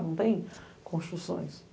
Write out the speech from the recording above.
Não tem construções.